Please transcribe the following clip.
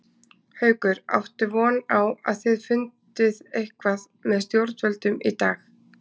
Haukur: Áttu von á að þið fundið eitthvað með stjórnvöldum í dag?